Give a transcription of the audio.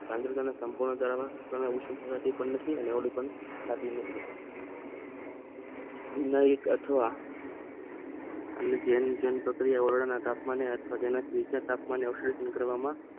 આ દ્રવ્ય સમજાવાતું પણ નથી એક અથવા અને જેમ જેમ પ્રક્રિયા વાયુના તોમને તેમાંથી ઉંચા તાપમાને આશ્વાસન કરવામાં